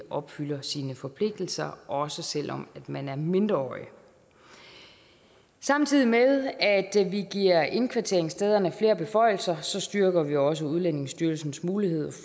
opfylder sine forpligtelser også selv om man er mindreårig samtidig med at vi giver indkvarteringsstederne flere beføjelser styrker vi også udlændingestyrelsens mulighed